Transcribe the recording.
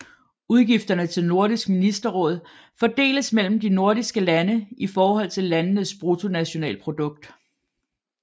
Udgifterne til Nordisk Ministerråd fordeles mellem de nordiske lande i forhold til landenes bruttonationalprodukt